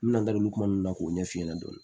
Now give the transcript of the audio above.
N bɛna n da don kuma ninnu na k'o ɲɛf'i ɲɛna dɔɔni